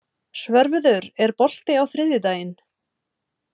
Svörfuður, er bolti á þriðjudaginn?